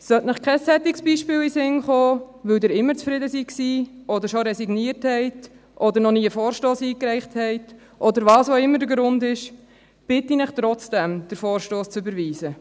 Sollte Ihnen kein solches Beispiel in den Sinn kommen, weil Sie immer zufrieden waren oder schon resigniert haben oder noch nie einen Vorstoss eingereicht haben, oder was auch immer der Grund ist, bitte ich Sie trotzdem, den Vorstoss zu überweisen.